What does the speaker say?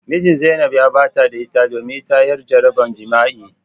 Mijin zainab ya barta da ita domin ita yar jarabar jima'i.